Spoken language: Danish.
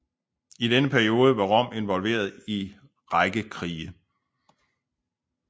I denne periode var Rom involveret i række krige